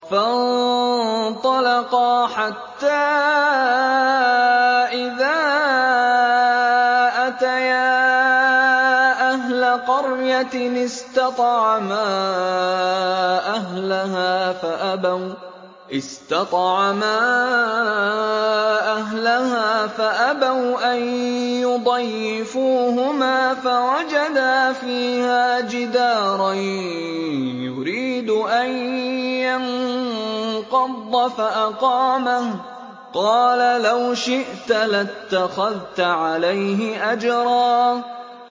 فَانطَلَقَا حَتَّىٰ إِذَا أَتَيَا أَهْلَ قَرْيَةٍ اسْتَطْعَمَا أَهْلَهَا فَأَبَوْا أَن يُضَيِّفُوهُمَا فَوَجَدَا فِيهَا جِدَارًا يُرِيدُ أَن يَنقَضَّ فَأَقَامَهُ ۖ قَالَ لَوْ شِئْتَ لَاتَّخَذْتَ عَلَيْهِ أَجْرًا